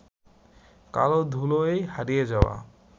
কালের ধুলোয় হারিয়ে যাওয়া